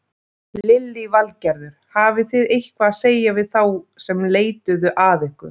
Lillý Valgerður: Hafið þið eitthvað að segja við þá sem leituðu að ykkur?